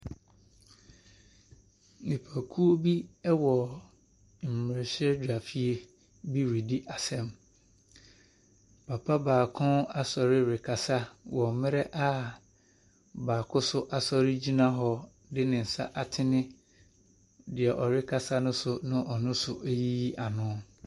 Nnipa wɔ mmerahyɛbadwafie bi redi asɛm. Papa baako asɔre rekasa wɔ mmerɛ a baako nso asɔre gyina hɔ de ne nsa atene deɛ ɔrekasa ne so na ɔno nso reyiyi ano.